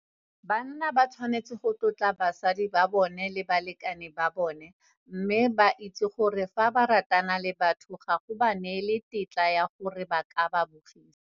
Banna ba tshwanetse go tlotla basadi ba bona le balekane ba bona mme ba itse gore fa ba ratana le batho ga go ba neele tetla ya gore ba ka ba bogisa.